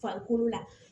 Farikolo la